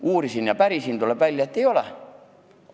Uurisin ja pärisin järele – tuleb välja, et ei ole nii.